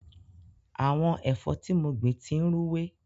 Àwọn ẹ̀fọ́ tí mo gbìn ti ń rúwé.